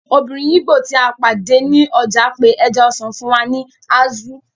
Obìnrin ìgbò tí a pàdé ní ọjà pe ẹja-ọsàn fún wa ní azu